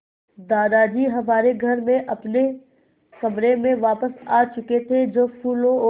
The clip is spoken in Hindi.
दादाजी हमारे घर में अपने कमरे में वापस आ चुके थे जो फूलों और